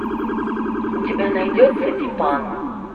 у тебя найдется дипан